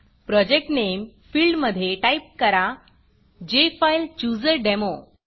project Nameप्रॉजेक्ट नेमफिल्डमधे type करा जेफाईलचूझरडेमो